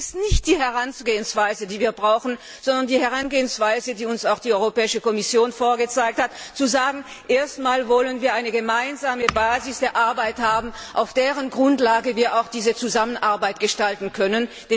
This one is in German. Das ist nicht die Herangehensweise, die wir brauchen, sondern wir fordern die Herangehensweise, die uns auch die Europäische Kommission dargelegt hat, nämlich zu sagen Erst wollen wir eine gemeinsame Basis für unsere Arbeit haben, auf deren Grundlage wir unsere Zusammenarbeit gestalten können!